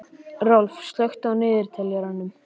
Rolf, slökktu á niðurteljaranum.